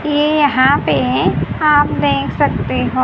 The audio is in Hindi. ये यहां पे आप देख सकते हो --